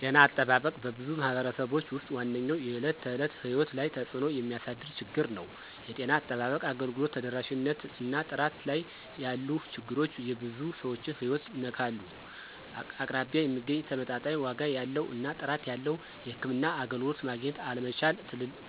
ጤና አጠባበቅ በብዙ ማኅበረሰቦች ውስጥ ዋነኛው የዕለት ተዕለት ሕይወት ላይ ተጽእኖ የሚያሳድር ችግር ነው። የጤና አጠባበቅ አገልግሎት ተደራሽነት እና ጥራት ላይ ያሉ ችግሮች የብዙ ሰዎችን ሕይወት ይነካሉ። አቅራቢያ የሚገኝ፣ ተመጣጣኝ ዋጋ ያለው እና ጥራት ያለው የሕክምና አገልግሎት ማግኘት አለመቻል